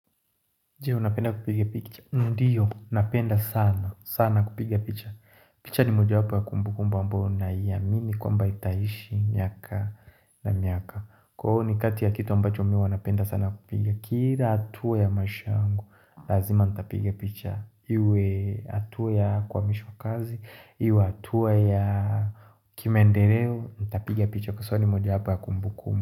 Ndiyo, napenda sana, sana kupiga picha picha ni mojawapo ya kumbukumbu ambao naiamini kwamba itaishi, miaka na miaka kwao ni kati ya kitu ambacho mi huwa napenda sana kupiga Kira atua ya maish yangu, lazima nitapiga picha Iwe hatua ya kuamishwa kazi, iwe hatua ya kimaendereo, nitapiga picha Kwa sau ni mojawapo ya kumbukumbu.